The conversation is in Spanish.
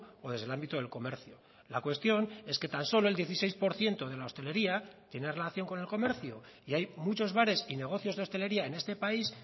o desde el ámbito del comercio la cuestión es que tan solo el dieciséis por ciento de la hostelería tiene relación con el comercio y hay muchos bares y negocios de hostelería en este país